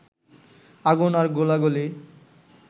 আগুন আর গোলাগুলি